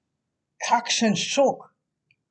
Kakšen šok!